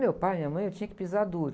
Meu pai, minha mãe, eu tinha que pisar duro.